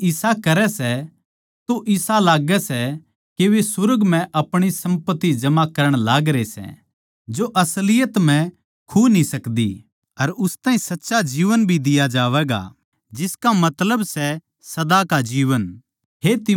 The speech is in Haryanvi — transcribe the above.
जै वे इसा करै सै तो इसा लाग्गै सै के वे सुर्ग म्ह अपणी सम्पत्ति जमा करण लागरे सै जो असलियत म्ह खु न्ही सकता अर उस ताहीं सच्चा जीवन भी दिया जावैगा जिसका मतलब सै सदा का जीवन